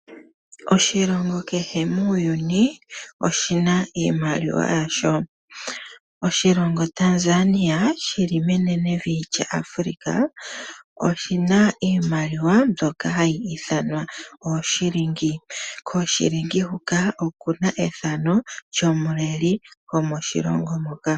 Oshilongo kehe muuyuni oshina iimaliwa yasho . Oshilongo Tanzania shili menenevi lyAfrika oshina iimaliwa mbyoka hayi ithanwa ooShilingi . KooShilingi huka okuna efano lyomuleli gokoshilongo hoka.